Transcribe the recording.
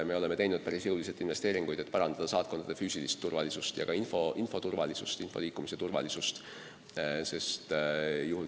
Me oleme teinud päris jõulisi investeeringuid, et parandada saatkondade füüsilist turvalisust ja ka info liikumise turvalisust.